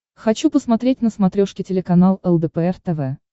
хочу посмотреть на смотрешке телеканал лдпр тв